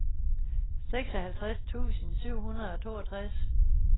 seksoghalvtreds tusind syv hundrede og toogtres